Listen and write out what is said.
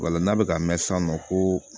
Wala n'a bɛ ka mɛn sisan nɔ koo